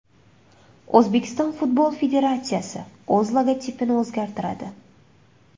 O‘zbekiston futbol federatsiyasi o‘z logotipini o‘zgartiradi.